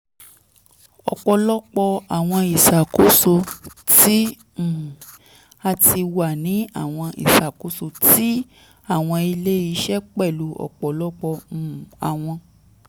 ọpọlọpọ awọn iṣakoso ti um a ti wa ni awọn iṣakoso ti awọn ile-iṣẹ pẹlu ọpọlọpọ um awọn